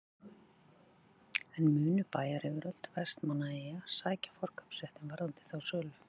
En munu bæjaryfirvöld Vestmannaeyja sækja forkaupsréttinn varðandi þá sölu?